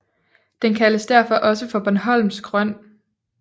Den kaldes derfor også Bornholmsk Røn